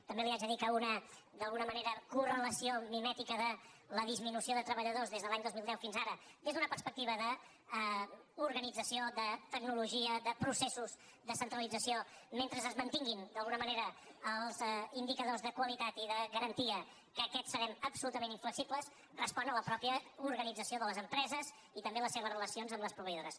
també li haig de dir que d’alguna manera una cor·relació mimètica de la disminució de treballadors des de l’any dos mil deu fins ara des d’una perspectiva d’orga·nització de tecnologia de processos de centralització mentre es mantinguin d’alguna manera els indica·dors de qualitat i de garantia que en aquests serem absolutament inflexibles respon a la pròpia organitza·ció de les empreses i també a les seves relacions amb les proveïdores